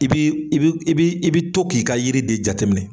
I bii i bi i bi i bi to k'i ka yiri de jateminɛ.